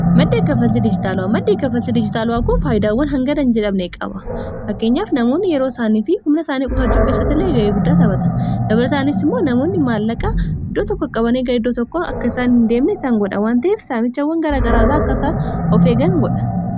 madda kka falti dijitaalu'aa madde ekka falti dijitaalu'aa kun faayidaawwan hangadan jedhabne qaba fakkeenyaaf namoonni yeroo isaanii fi humna isaanii qutachuu keessatta illee ga'ee guddaatabata gabrataanis immoo namoonni maallaqaa iddoo tokko aqabanee gar idoo tokko akkasaan hin deemne isaann godha wanta'eef saamichawwan gara garaarraa akkasaan of eeggan godha